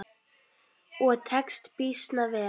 Og tekst býsna vel.